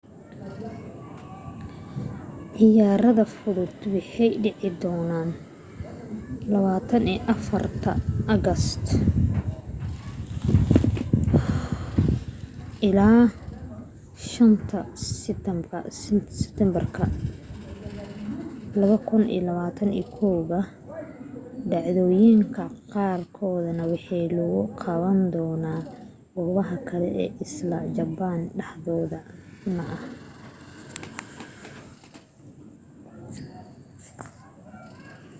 ciyaaraha fudud waxay dhici doonana 24 august ilaa 5 siteembar 2021 dhacdooyinka qaar kood waxaa lagu qaban doona goobo kale isla japan dhexdeed un ah